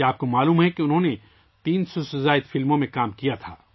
کیا آپ جانتے ہیں کہ انہوں نے 300 سے زائد فلموں میں کام کیا تھا